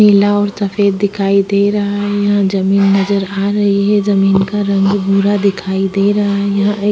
पीला और सफ़ेद दिखाई दे रहा हैं यहाँ ज़मीन नज़र आ रही हैं ज़मीन का रंग भूरा दिखाई दे रहा हैं यहाँ एक--